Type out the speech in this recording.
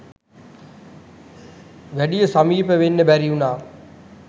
වැඩිය සමීප වෙන්න බැරි වුණා